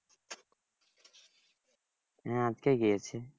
হ্যাঁ আজকে গিয়েছে